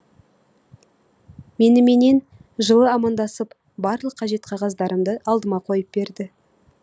меніменен жылы амандасып барлық қажет қағаздарымды алдыма қойып берді